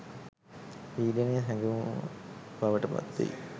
පීඩනය හැඟවුම බවට පත්වෙයි